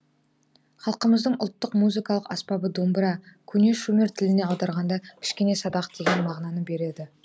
халқымыздың ұлттық музыкалық аспабы домбыра көне шумер тілінен аударғанда кішкене садақ деген мағынаны береді